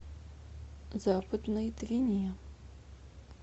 западной двине